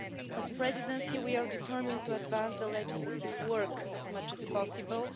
As the Presidency, we are determined to advance the legislative work as much as possible.